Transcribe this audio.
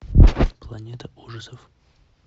планета ужасов